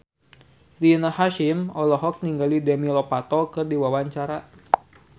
Rina Hasyim olohok ningali Demi Lovato keur diwawancara